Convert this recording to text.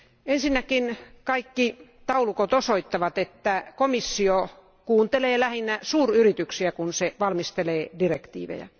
Ensinnäkin kaikki taulukot osoittavat, että komissio kuuntelee lähinnä suuryrityksiä, kun se valmistelee direktiivejä.